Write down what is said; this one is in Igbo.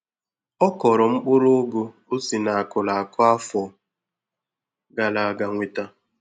Ọ kọrọ mkpụrụ Ụgụ o si na akụrụ akụ afọ gara aga nweta.